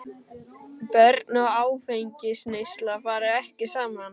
Börn og áfengisneysla fara ekki saman.